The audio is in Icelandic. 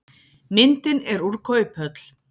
myndin er úr kauphöll